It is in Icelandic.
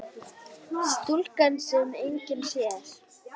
Stúlkan sem enginn sér.